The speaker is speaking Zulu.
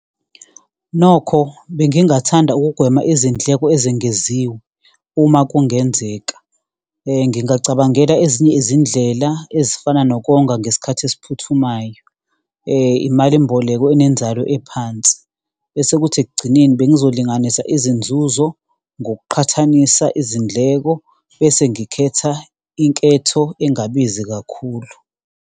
Nokho bengingathanda ukugwema izindleko ezengeziwe, uma kungenzeka. Ngingacabangela ezinye izindlela ezifana nokonga ngesikhathi esiphuthumayo, imalimboleko enenzalo ephansi, bese kuthi ekugcineni, bengizolinganisa izinzuzo ngokuqhathanisa izindleko, bese ngikhetha inketho engabizi kakhulu.